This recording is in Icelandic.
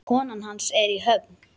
Konan hans er í Höfn.